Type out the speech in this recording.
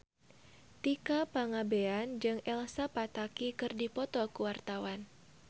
Tika Pangabean jeung Elsa Pataky keur dipoto ku wartawan